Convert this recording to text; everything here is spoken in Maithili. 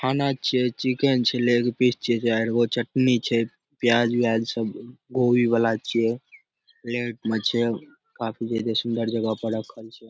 खाना छिये चिकेन छै लेग पीस छीये चारगो चटनी छै प्याज-उयाज सब गोल वाला छिये प्लेट में छै काफी जे सुन्दर जगह पर राखल छै ।